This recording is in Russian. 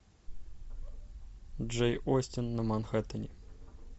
джейн остин на манхэттене